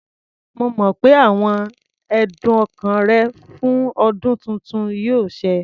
Mo mọ̀ pé àwọn ẹ̀dùn ọkàn rẹ fún ọdún tuntun yóò ṣẹ.